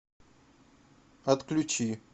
отключи